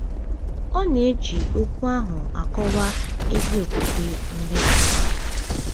Ọ na-eji okwu ahụ akọwa ezi okwukwe Ndị Kraịst.